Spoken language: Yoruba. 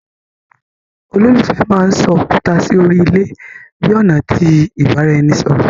Ololufẹ mán sọ òkúta sí órí ilé bi ọna ti ibaraẹnisọrọ